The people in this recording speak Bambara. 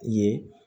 Ye